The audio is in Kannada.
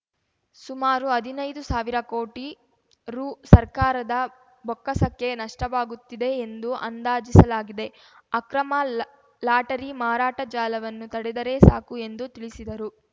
ಸುಮಾರು ಹದಿನೈದು ಸಾವಿರ ಕೋಟಿ ರುಸರ್ಕಾರದ ಬೊಕ್ಕಸಕ್ಕೆ ನಷ್ಟವಾಗುತ್ತಿದೆ ಎಂದು ಅಂದಾಜಿಸಲಾಗಿದೆ ಅಕ್ರಮ ಲಾ ಲಾಟರಿ ಮಾರಾಟ ಜಾಲವನ್ನು ತಡೆದರೆ ಸಾಕು ಎಂದು ತಿಳಿಸಿದರು